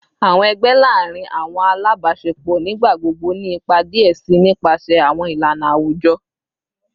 Awọn ẹgbẹ laarin awọn alabaṣepọ nigbagbogbo ni ipa diẹ sii nipasẹ awọn ilana awujọ